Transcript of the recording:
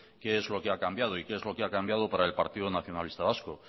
qué es lo que ha cambiado y qué es lo que ha cambiado para partido nacionalista vasco